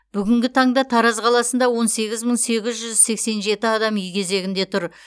бүгін таңда тараз қаласында он сегіз мың сегіз жүз сексен жеті адам үй кезегінде тұр